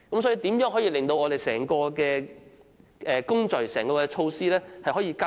所以，如何可令整個工序和整項措施加快？